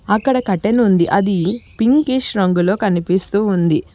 అక్కడ కర్టెన్ ఉంది అది పింకీష్ రంగులో కనిపిస్తూ ఉంది.